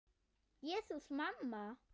Jesús, mamma.